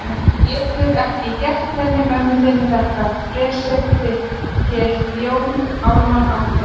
Þú getur ekki gert henni mömmu þinni þetta fressið þitt, hélt Jón Ármann áfram.